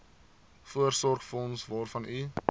voorsorgsfonds waarvan u